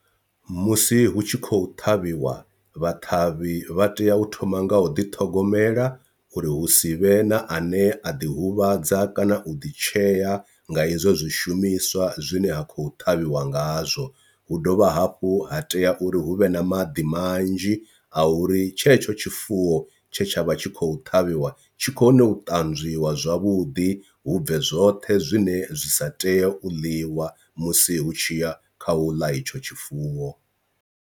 Musi hu tshi khou ṱhavhiwa vhaṱhavhi vha tea u thoma nga u ḓiṱhogomela uri hu si vhe na a ne a ḓi huvhadza kana u ḓi tshea nga hezwo zwishumiswa zwine ha khou ṱhavhiwa ngazwo, hu dovha hafhu ha tea uri hu vhe na maḓi manzhi a uri tshetsho tshifuwo tshe tsha vha tshi khou ṱhavhiwa tshi kone u tanzwiwa zwavhuḓi hu bve zwoṱhe zwine zwi sa teye u ḽiwa musi hu tshi ya kha u ḽa etsho tshifuwo.